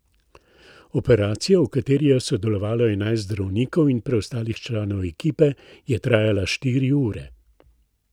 Operacija, v kateri je sodelovalo enajst zdravnikov in preostalih članov ekipe, je trajala štiri ure.